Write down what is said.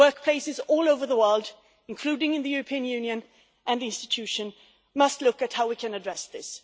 Workplaces all over the world, including in the European Union and EU institutions must look at how we can address this.